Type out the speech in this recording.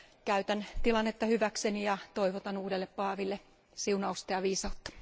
Käytän tilannetta hyväkseni ja toivotan uudelle paaville siunausta ja viisautta.